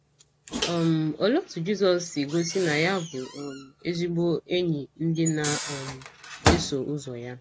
um Olee otú Jizọs si gosi na ya bụ um ezigbo enyi ndị na - um eso ụzọ ya?